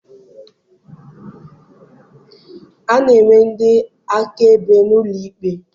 A na-enwe ndị akaebe n'ụlọ ikpe.